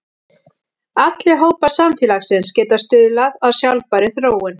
Allir hópar samfélagsins geta stuðlað að sjálfbærri þróun.